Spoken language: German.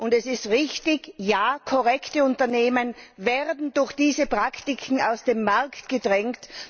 Es ist richtig Korrekte Unternehmen werden durch diese Praktiken aus dem Markt gedrängt.